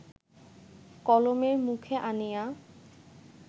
কলমের মুখে আনিয়া